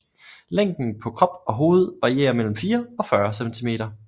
Længden på krop og hoved varierer mellem 4 og 40 cm